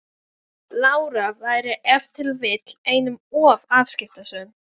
Lára væri ef til vill einum of afskiptasöm.